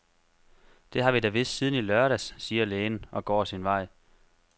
Det har vi da vidst siden i lørdags, siger lægen, og går sin vej.